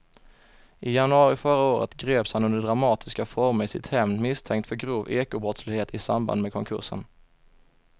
I januari förra året greps han under dramatiska former i sitt hem misstänkt för grov ekobrottslighet i samband med konkursen.